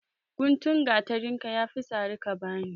Gutun gatarinka ya fi sari ka ba ni.